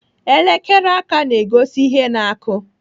Elekere aka na-egosi ihe na-akụ.